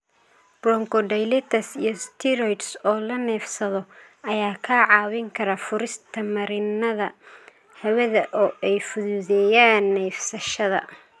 Bronchodilators iyo steroids oo la neefsado ayaa kaa caawin kara furista marinnada hawada oo ay fududeeyaan neefsashada.